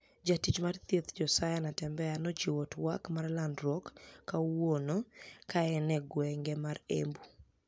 Jatich mar thieth Josia niatembea nochiwo twak mar lanidruok kawuono kaeni e e gwenige ma Embu.